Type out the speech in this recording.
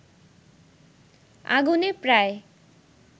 আগুনে প্রায়